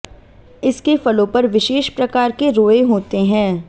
इसके फलों पर विशेष प्रकार के रोंए होते हैं